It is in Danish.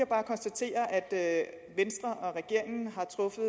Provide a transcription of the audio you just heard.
bare konstatere at venstre og regeringen har truffet